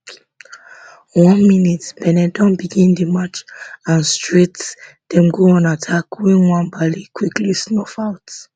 one min benin don begin di match and straight dem go on attack wey nwabali quickly snuff out